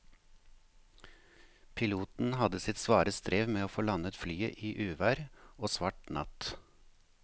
Piloten hadde sitt svare strev med å få landet flyet i uvær og svart natt.